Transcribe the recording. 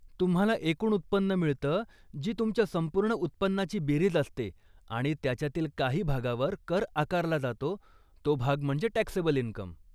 तुम्हाला एकूण उत्पन्न मिळत जी तुमच्या संपूर्ण उत्पन्नाची बेरीज असते, आणि त्याच्यातील काही भागावर कर आकारला जातो तो भाग म्हणजे टॅक्सेबल इनकम.